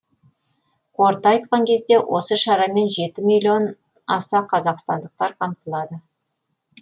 қорыта айтқан кезде осы шарамен жеті миллион аса қазақстандықтар қамтылады